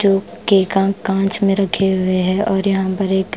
जो केका कांच में रखे हुए है और यहां पर एक--